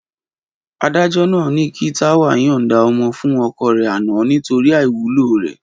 Adájọ́ ni kí Táwà yọ̀nǹda ọmọ fún ọkọ rẹ̀ àná nítorí àìwúlò rẹ̀.